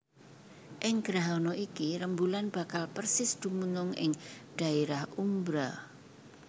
Ing grahana iki rembulan bakal persis dumunung ing dhaérah umbra